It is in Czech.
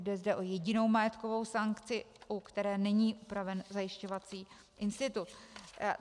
Jde zde o jedinou majetkovou sankci, u které není upraven zajišťovací institut.